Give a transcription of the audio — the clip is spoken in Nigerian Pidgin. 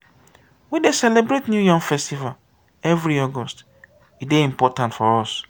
we dey celebrate new yam festival every august; e dey important for us.